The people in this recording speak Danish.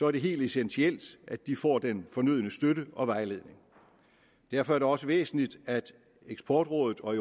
er det helt essentielt at de får den fornødne støtte og vejledning derfor er det også væsentligt at eksportrådet og